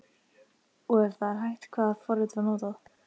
Og ef það er hægt, hvaða forrit var notað?